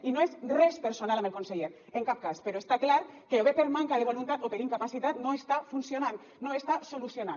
i no és res personal amb el conseller en cap cas però està clar que o bé per manca de voluntat o per incapacitat no està funcionant no està solucionant